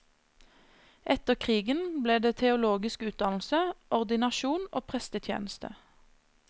Etter krigen ble det teologisk utdannelse, ordinasjon og prestetjeneste.